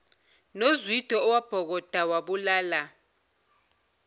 nozwide owabhokoda wabulala